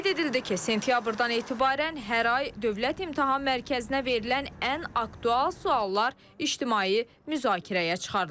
Qeyd edildi ki, sentyabrdan etibarən hər ay Dövlət İmtahan Mərkəzinə verilən ən aktual suallar ictimai müzakirəyə çıxarılacaq.